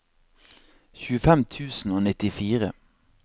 tjuefem tusen og nittifire